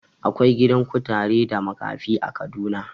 Akwai gidan kutare da makafi a Kaduna.